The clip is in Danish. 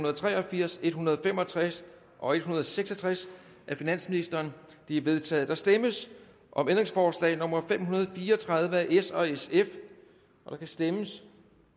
og tre og firs en hundrede og fem og tres og en hundrede og seks og tres af finansministeren de er vedtaget der stemmes om ændringsforslag nummer fem hundrede og fire og tredive af s og sf der kan stemmes